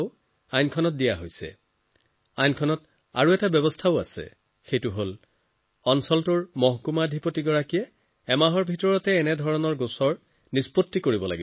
আইনত আৰু এটা ডাঙৰ কথা আছে এই আইনত ব্যৱস্থা কৰা হৈছে যে ক্ষেত্ৰৰ এছডিএমে এমাহৰ ভিতৰত কৃষকৰ অভিযোগ নিষ্পত্তি কৰিব লাগিব